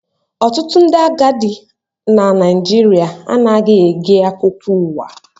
Ọtụtụ ndị agadi na Naịjirịa anaghị ege akụkọ ụwa